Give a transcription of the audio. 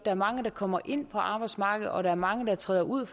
er mange der kommer ind på arbejdsmarkedet og at der er mange der træder ud